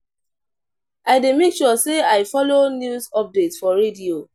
I dey make sure sey I folo news update for radio.